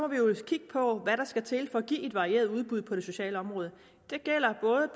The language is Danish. vi jo kigge på hvad der skal til for at give et varieret udbud på det sociale område det gælder både